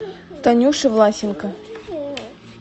танюши власенко